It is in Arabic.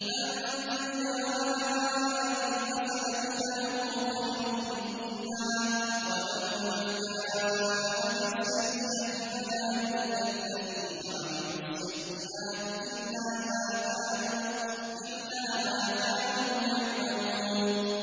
مَن جَاءَ بِالْحَسَنَةِ فَلَهُ خَيْرٌ مِّنْهَا ۖ وَمَن جَاءَ بِالسَّيِّئَةِ فَلَا يُجْزَى الَّذِينَ عَمِلُوا السَّيِّئَاتِ إِلَّا مَا كَانُوا يَعْمَلُونَ